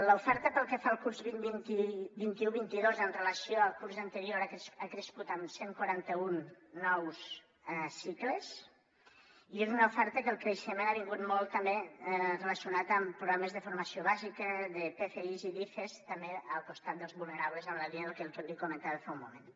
l’oferta pel que fa al curs vint un vint dos amb relació al curs anterior ha crescut amb cent i quaranta un nous cicles i és una oferta en què el creixement ha vingut molt relacionat amb programes de formació bàsica de pfis i d’ifes també al costat dels vulnerables en la línia del que li comentava fa un moment